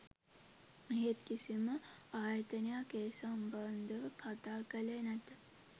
එහෙත් කිසිම ආයතනයක් ඒ සම්බන්ධව කතා කළේ නැත